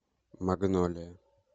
магнолия